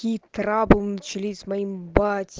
корабль начались моим